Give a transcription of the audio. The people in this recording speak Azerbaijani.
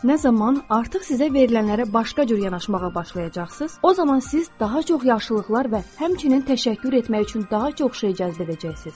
Nə zaman artıq sizə verilənlərə başqa cür yanaşmağa başlayacaqsınız, o zaman siz daha çox yaxşılıqlar və həmçinin təşəkkür etmək üçün daha çox şey cəzb edəcəksiniz.